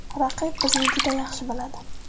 Raqib bizni juda yaxshi biladi.